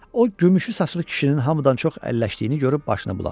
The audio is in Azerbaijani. O gümüşü saçlı kişinin hamıdan çox əlləşdiyini görüb başını buladı.